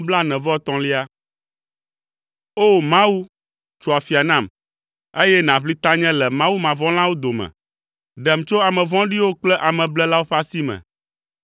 O! Mawu, tso afia nam, eye nàʋli tanye le mawumavɔ̃lawo dome, ɖem tso ame vɔ̃ɖiwo kple ameblelawo ƒe asi me.